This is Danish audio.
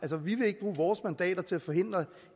vi vil ikke bruge vores mandater til at forhindre